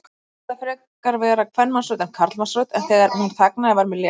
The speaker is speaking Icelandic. Mér fannst þetta frekar vera kvenmannsrödd en karlmannsrödd, en þegar hún þagnaði var mér létt.